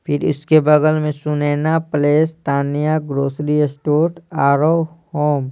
फिर इसके बगल में Sunaina place Tania grocery store आरो होम --